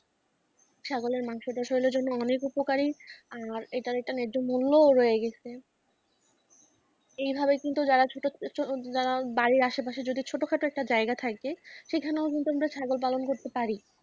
ছাগলের মাংস জন্য অনেক উপকারী আর এটা একটা ন্যাহ্য মূল্য রয়ে গেছে এভাবে কিন্তু যারা যারা বাড়ির আশেপাশে যদি ছোটখাটো একটা জায়গা থাকে সেখানেও কিন্তু আমরা ছাগল পালন করতে পারি।